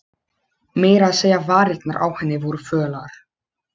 Meira að segja varirnar á henni voru fölar.